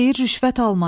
Deyir rüşvət alma.